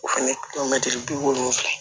O fɛnɛ bi wolonwula